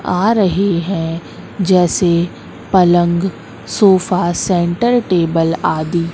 आ रही है जैसे पलंग सोफा सेंटर टेबल आदि--